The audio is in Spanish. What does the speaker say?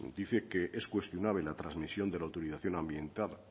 dice que es cuestionable la transmisión de la autorización ambiental